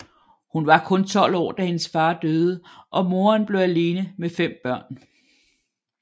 Hun var hun 12 år da hendes fader døde og moderen blev alene med fem børn